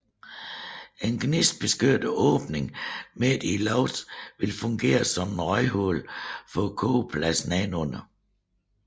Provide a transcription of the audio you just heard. En gnistbeskyttet åbning midt i loftet ville fungere som et røghul for kogepladsen nedenunder